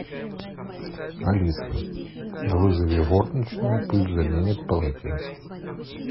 алиса вызови горничную пусть заменит полотенце